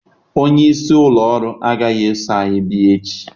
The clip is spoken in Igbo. Onye isi ụlọ ọrụ agaghị eso anyị bịa echi.